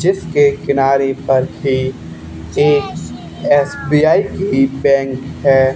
जिसके किनारे पर भी जेस एस_बी_आई भी बैंक है।